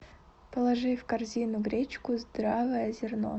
положи в корзину гречку здравое зерно